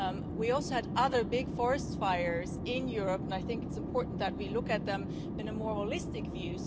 We also had other big forest fires in Europe, and I think it is important that we look at them with a more holistic view.